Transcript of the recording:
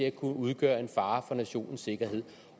at kunne udgøre en fare for nationens sikkerhed